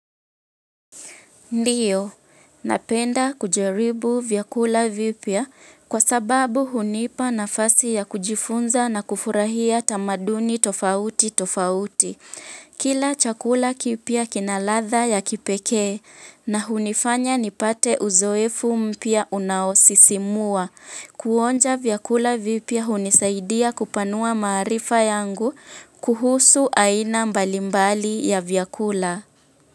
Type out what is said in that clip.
Ndiyo, napenda kujaribu vyakula vipya kwa sababu hunipa nafasi ya kujifunza na kufurahia tamaduni tofauti tofauti. Kila chakula kipya kina ladha ya kipekee na hunifanya nipate uzoefu mpya unaosisimua. Kuonja vyakula vipya hunisaidia kupanua maarifa yangu kuhusu aina mbalimbali ya vyakula.